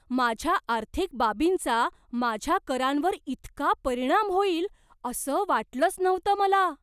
माझ्या आर्थिक बाबींचा माझ्या करांवर इतका परिणाम होईल असं वाटलंच नव्हतं मला.